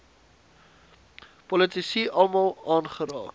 politici almal aangeraak